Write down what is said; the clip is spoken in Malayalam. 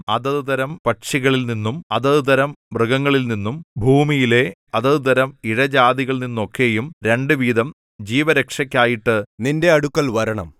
അതത് തരം പക്ഷികളിൽനിന്നും അതത് തരം മൃഗങ്ങളിൽനിന്നും ഭൂമിയിലെ അതത് തരം ഇഴജാതികളിൽനിന്നൊക്കെയും രണ്ട് വീതം ജീവരക്ഷയ്ക്കായിട്ട് നിന്റെ അടുക്കൽ വരണം